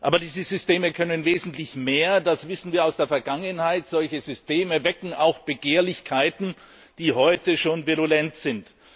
Aber diese Systeme können wesentlich mehr, das wissen wir aus der Vergangenheit. Solche Systeme wecken auch Begehrlichkeiten, die heute schon virulent sind.